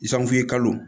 kalo